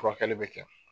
Furakɛli bɛ kɛ